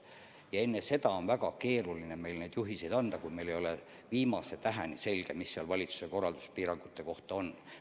Ja enne seda oli meil väga keeruline anda juhiseid – meil ei olnud viimase täheni selge, mis valitsuse korralduses piirangute kohta kirjas on.